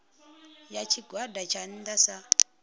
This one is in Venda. ya tshigwada tsha nnda sa